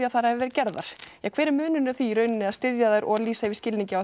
að þær hafi verið gerðar hver er munurinn á því í rauninni sð styðja þær og lýsa yfir skilningi á